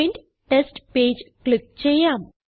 print test page click ചെയ്യാം